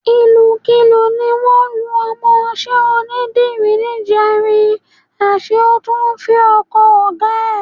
Ìlùkulù ni wọ́n lu ọmọọṣẹ́ onídìrí níjẹrin, àṣé ó tún fẹ ọkọ ọ̀gá ẹ̀.